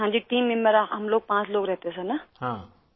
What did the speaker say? ہاں جی، team member, ہم پانچ لوگ رہتے تھے سر نا!